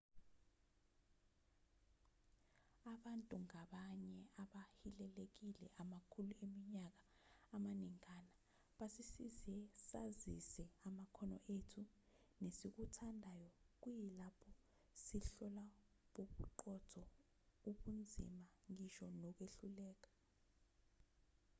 abantu ngabanye abahilelekile amakhulu eminyaka amaningana basisize sazise amakhono ethu nesikuthandayo kuyilapho sihlola bobuqotho ubunzima ngisho nokwehluleka